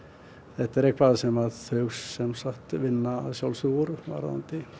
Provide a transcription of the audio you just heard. þetta er eitthvað sem þau sjálfsagt vinna úr varðandi